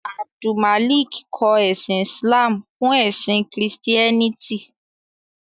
Abdulmalik kọ ẹ̀sìn Islamú fún ẹ̀sìn Kristiẹ́nìtì.